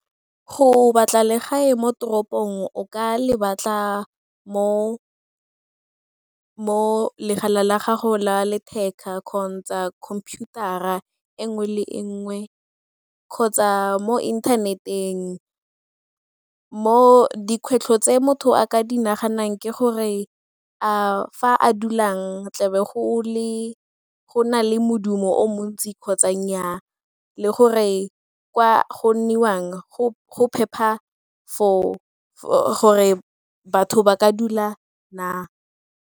Go batla legae mo toropong o ka le batla mo la gago la letheka kgotsa computer-ra e nngwe le e nngwe kgotsa mo internet-eng. Mo dikgwetlho tse motho a ka di naganang ke gore a fa a dulang tlebe go na le modumo o montsi kgotsa nnyaa le gore kwa go nniwang go phepa for gore batho ba ka dula na?